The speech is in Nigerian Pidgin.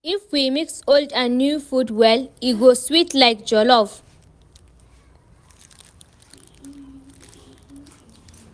If we mix old and new food well, e go sweet like jollof.